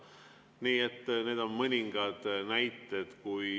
Nii et need on mõningad näited.